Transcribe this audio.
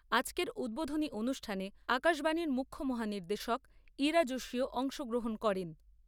আজকের উদ্বোধনী অনুষ্ঠানে আকাশবাণীর মুখ্য মহা নির্দেশক ইরা জোশীও অংশগ্রহণ করেন।